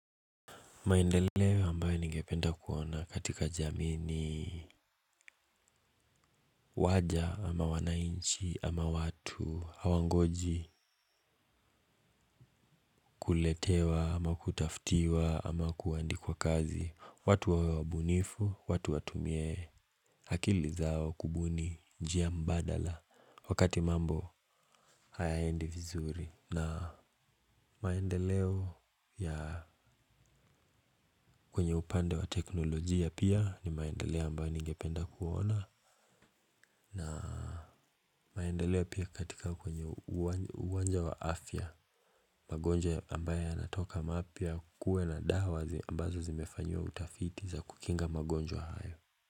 Maendeleo ambayo ningependa kuona katika jamii ni waja ama wananchi ama watu hawangoji kuletewa ama kutafutiwa ama kuandikwa kazi watu wawe wabunifu watu watumie akili zao kubuni njia mbadala wakati mambo hayaendi vizuri na maendeleo ya kwenye upande wa teknolojia pia ni maendeleo ambayo ningependa kuona na maendeleo pia katika kwenye uwanja wa afya, magonjwa ambaye yanatoka mapya kuwe na dawa ambazo zimefanyiwa utafiti za kukinga magonjwa hayo.